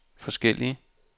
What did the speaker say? forskellig